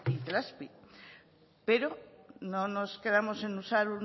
itelazpi pero no nos quedamos en usar